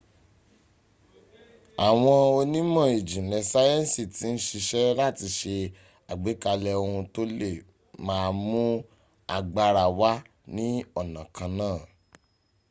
àwọn onímọ̀ ìjìnlẹ̀ sáyẹ̀nsì ti ń siṣẹ́ láti se àgbékalẹ̀ ohun tó le má a mún agbára wá ní ọ̀nà kan náà